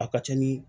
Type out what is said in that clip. A ka ca ni